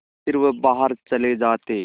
फिर वह बाहर चले जाते